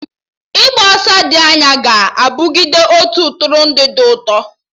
Ịgba ọsọ dị anya ga-abụgide otu Ntụrụndụ dị ụtọ